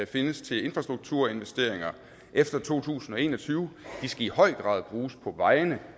findes til infrastrukturinvesteringer efter to tusind og en og tyve i høj grad skal bruges på vejene